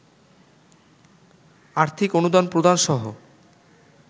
আর্থিক অনুদান প্রদানসহ